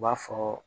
U b'a fɔ